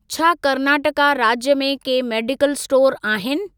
छा कर्नाटका राज्य में के मेडिकल स्टोर आहिनि?